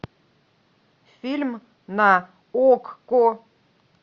фильм на окко